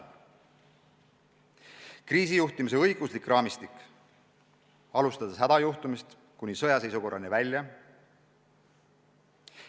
Samuti peab olemas olema kriisijuhtimise õiguslik raamistik, alustades hädajuhtumist kuni sõjaseisukorrani välja.